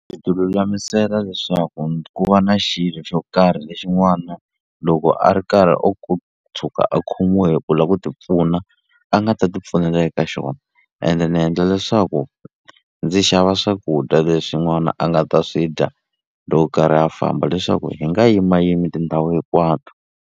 Ndzi ti lulamisela leswaku ku va na xilo xo karhi lexi n'wana loko a ri karhi o tshuka a khomiwe hi ku la ku ti pfuna a nga ta ti pfunela eka xona ene ni endla leswaku ndzi xava swakudya leswi n'wana a nga ta swi dya loko karhi a famba leswaku hi nga yimayimi tindhawu hikwato.